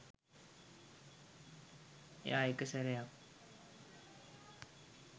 එයා එක සැරයක්